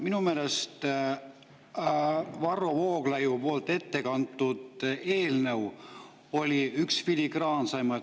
Minu meelest oli Varro Vooglaiu ettekantud eelnõu üks filigraansemaid.